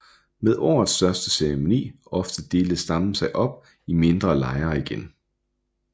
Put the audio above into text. Med årets største ceremoni ovre delte stammen sig op i mindre lejre igen